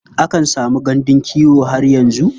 Akan samu gandun kiwo har yanzu.